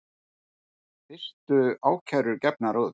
Fyrstu ákærur gefnar út